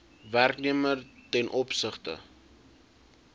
werknemer ten opsigte